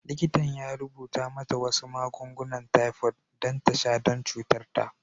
Likitan ya rubuta mata wasu magungunan typhoid don ta sha don cutar ta.